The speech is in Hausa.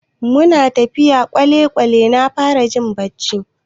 Muna tafiya a kwale-kwale na fara jin bacci.